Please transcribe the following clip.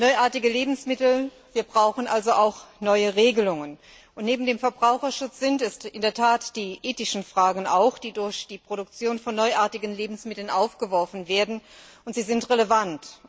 Neuartige Lebensmittel wir brauchen also auch neue Regelungen. Neben dem Verbraucherschutz sind es in der Tat auch die ethischen Fragen, die durch die Produktion von neuartigen Lebensmitteln aufgeworfen werden, und sie sind relevant.